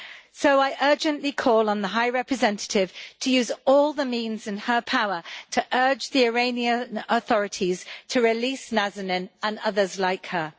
So I urgently call on the High Representative to use all the means in her power to urge the Iranian authorities to release Nazanin and others like her.